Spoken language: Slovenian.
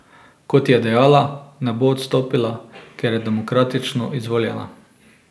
Kot je dejala, ne bo odstopila, ker je demokratično izvoljena.